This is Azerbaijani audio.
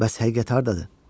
Bəs həqiqət hardadır?